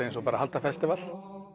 eins og að halda festival